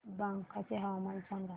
बांका चे हवामान सांगा